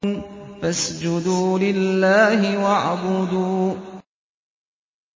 فَاسْجُدُوا لِلَّهِ وَاعْبُدُوا ۩